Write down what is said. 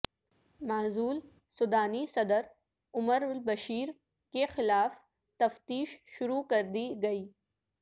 معزول سوڈانی صدر عمر البشیر کے خلاف تفتیش شروع کر دیی گئی